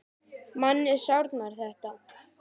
Manni sárnar þetta.